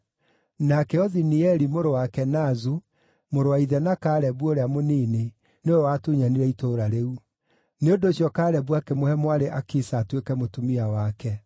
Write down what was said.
Nake Othinieli, mũrũ wa Kenazu, mũrũ wa ithe na Kalebu ũrĩa mũnini, nĩwe watunyanire itũũra rĩu. Nĩ ũndũ ũcio Kalebu akĩmũhe mwarĩ Akisa atuĩke mũtumia wake.